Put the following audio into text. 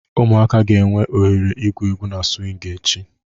Ụmụaka ga-enwe ohere igwu egwu na swing echi.